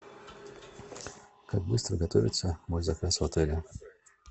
как быстро готовится мой заказ в отеле